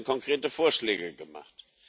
Und es werden konkrete Vorschläge gemacht.